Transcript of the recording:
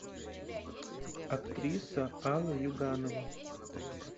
актриса алла юганова